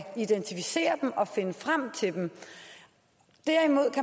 identificere dem og finde frem til dem